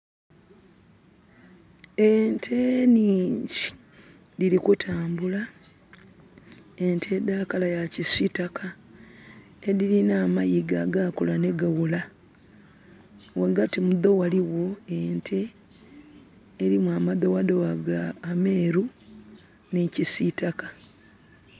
Ente nhingi diri kutambula, ente da kala ya kisitaka edirina amayiga agakula ni gawola. Wagati mudho waliwo ente erimu amadowadowa ameeru ni kisitaka